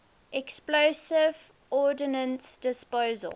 explosive ordnance disposal